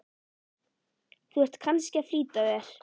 Þú ert kannski að flýta þér.